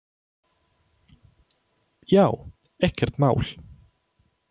Já, ekkert mál!